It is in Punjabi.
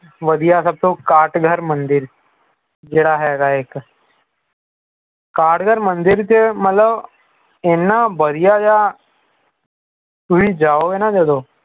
ਵਧੀਆ ਸਭ ਤੋਂ ਕਾਟ ਘਰ ਮੰਦਿਰ ਜਿਹੜਾ ਹੈਗਾ ਇਕ ਕਾਟ ਘਰ ਮੰਦਿਰ ਚ ਮਤਲਬ ਏਨਾ ਵਧੀਆ ਜਿਹਾ ਤੁਸੀਂ ਜਾਓਗੇ ਨਾ ਜਦੋਂ